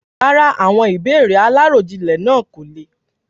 Rárá, àwọn ìbéèrè aláròjinlè náà kò le.